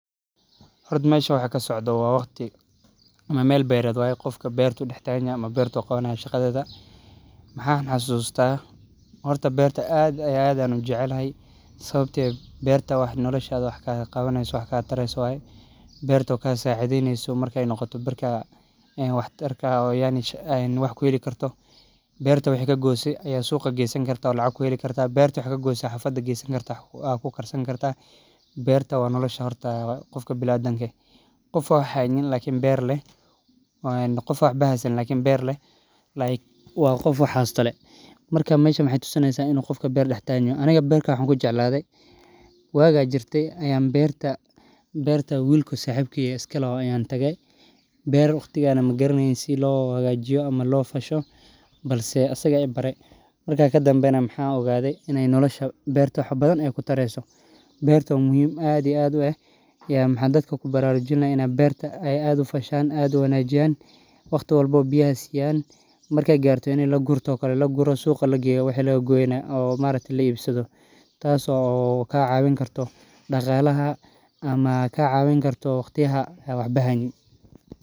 Xorta meshan waxa kasocdo wa wagti amaa mel bered waye gofka bertu daxtahanyaxay ama bertu qawanaya shaqadeda, mxaan xasusta, horta berta aad iyo aad ayan ujecelahay, sawabto eh, berta wax noloshad wax kalaqawaneyso wax katareyso waye, bertu u kasacideyneyso marki ay nogoto barka een wax tarka, oo yacni wax kuxeelikarto, berta waxad kaqoyse suqa gesanikarta, lacag kuxeelikarta, berta waxa kagoysa aya xaafda qesaanikarta wax kukarsanikarta, berta wa noloshaa horta gofka biniadamke, gof oo wax xaynin lakin ber leh, like wa gof wax xaysto lee, marka mesha maxay tusinaysaa inu gofka ber dax taganyoxo, aniga berta waxan kujecladhe waqaa jirtay ayan berta wil saxibkey oo iskaloxo ayan tagee, ber wagtigaanahmagaraneynin sii loxagajiyo, ama lofasho, balse asaga ibarre, marka kadambe naa waxan ogadee inaya nolosha berta wax badan ay tareyso, berta wa muxiim aad iyo aad ueh, een maxaan dadka kubarajujinaya inay berta ay aad ufashaan, aad u wanajiyan, wagti walbaawa biyaha siyaan, markay qarto ini lagurtokale laguroo, suuga lageyo wixii lagagoyenax laibsado taaso kacawinkarto daqalaxa ama kacawinkarto wagtiyaxaa waxba xayniin.